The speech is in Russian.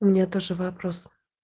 у меня тоже вопрос